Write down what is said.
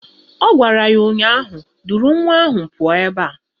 Ọ gwara ya ụnyaahụ "Duru nwa ahụ pụọ ebe a"!